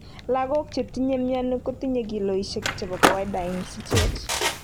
Logok che tinye mioni kotinye kilosisiek chepo kawaida en sichet.